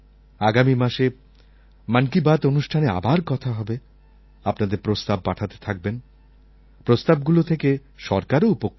আগামী মাসে মন কি বাত অনুষ্ঠানে আবার কথা হবে আপনাদের প্রস্তাব পাঠাতে থাকবেন প্রস্তাবগুলো থেকে সরকারও উপকৃত হয়